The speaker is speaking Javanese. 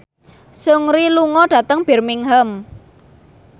Seungri lunga dhateng Birmingham